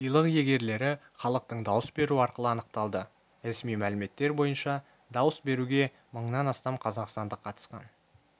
сыйлық иегерлері іалықтың дауыс беруі арқылы анықталды ресми мәліметтер бойынша дауыс беруге мыңнан астам қазақстандық қатысқан